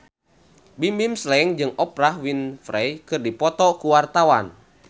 Bimbim Slank jeung Oprah Winfrey keur dipoto ku wartawan